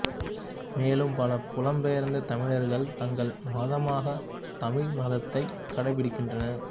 மேலும் பல புலம்பெயர்ந்த் தமிழர்கள் தங்கள் மதமாக தமிழ் மதத்தை கடைபிடிக்கின்றனர்